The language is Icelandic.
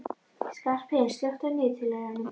Skarphéðinn, slökktu á niðurteljaranum.